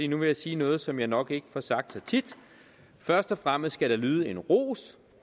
nu vil jeg sige noget som jeg nok ikke får sagt så tit først og fremmest skal der lyde en ros